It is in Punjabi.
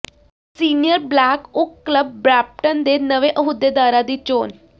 senior Black Oak club Brampton ਦੇ ਨਵੇਂ ਅਹੁਦੇਦਾਰਾਂ ਦੀ ਚੋਣ